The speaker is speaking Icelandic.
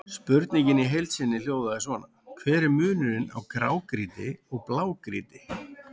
Spurningin í heild sinni hljóðaði svona: Hver er munurinn á grágrýti og blágrýti?